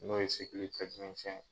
N'o ye sigili